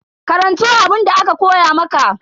Karanto abunda aka koya maka.